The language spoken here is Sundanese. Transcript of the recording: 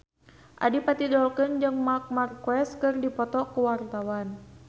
Adipati Dolken jeung Marc Marquez keur dipoto ku wartawan